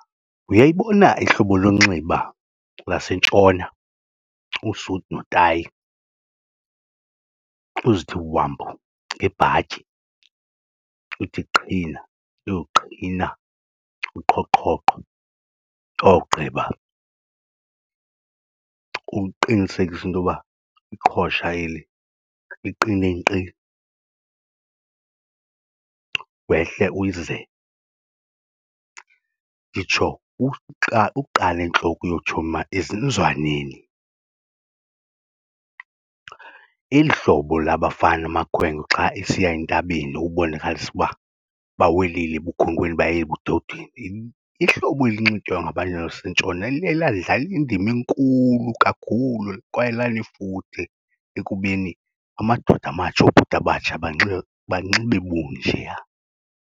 Uyayibona ihlobo lonxiba laseNtshona, usuti notayi, uzithi wambu ngebhatyi. Uthi qhina uyoqhina uqhoqhoqho owugqiba uqinisekisa into yoba iqhosha eli liqine nkqi. Wehle uyizize nditsho ukuqala entloko uyotsho ezinzwaneni, eli hlobo labafana amakhwenkwe xa esiya entabeni ubonakalisa uba bawelile ebukhwenkweni baye ebudodeni. Ihlobo elinxitywa ngabantu baseNtshona liye ladlala indima enkulu kakhulu kwaye lanefuthe ekubeni amadoda amatsha, obhuti abatsha banxibe bunjeya.